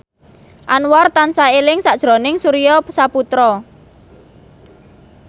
Anwar tansah eling sakjroning Surya Saputra